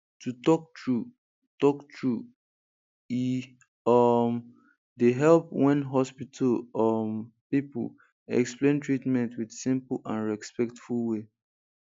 to talk true talk true e um dey help when hospital um people explain treatment with simple and respectful way